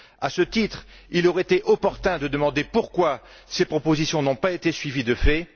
À ce titre, il aurait été opportun de demander pourquoi ces propositions n'ont pas été suivies de fait.